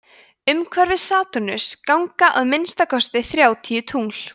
umhverfis satúrnus ganga að minnsta kosti þrjátíu tungl